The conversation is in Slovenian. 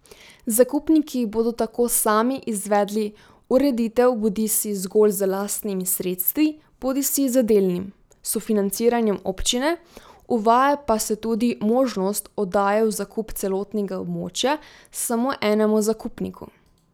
Zakupniki bodo tako sami izvedli ureditev bodisi zgolj z lastnimi sredstvi bodisi z delnim sofinanciranjem občine, uvaja pa se tudi možnost oddaje v zakup celotnega območja samo enemu zakupniku.